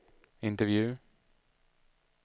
intervju